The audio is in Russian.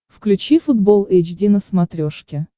включи футбол эйч ди на смотрешке